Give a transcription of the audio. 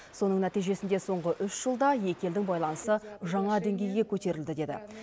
соның нәтижесінде соңғы үш жылда екі елдің байланысы жаңа деңгейге көтерілді деді